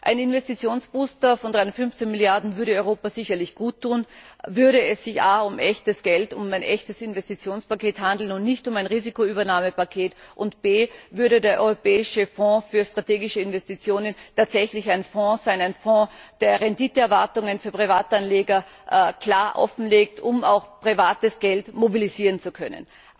Ein Investitionsbooster von 315 Milliarden würde Europa sicherlich guttun, würde es sich a um echtes Geld, um ein echtes Investitionspaket handeln und nicht um ein Risikoübernahmepaket und b würde der Europäische Fonds für Strategische Investitionen tatsächlich ein Fonds sein, der Renditeerwartungen für Privatanleger klar offenlegt, um auch privates Geld mobilisieren zu können.